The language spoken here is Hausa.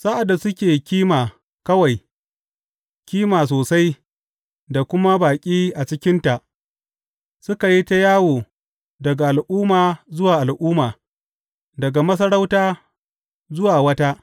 Sa’ad da suke kima kawai, kima sosai, da kuma baƙi a cikinta, suka yi ta yawo daga al’umma zuwa al’umma, daga masarauta zuwa wata.